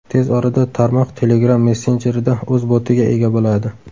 Tez orada tarmoq Telegram messenjerida o‘z botiga ega boladi.